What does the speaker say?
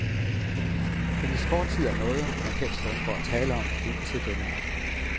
Hendes fortid er noget, man helst undgår at tale om, indtil denne aften.